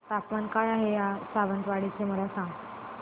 तापमान काय आहे सावंतवाडी चे मला सांगा